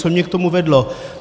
Co mě k tomu vedlo?